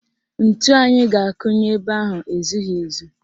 Ntu anyị ga-akụ nye ebe ahụ ezughị ezu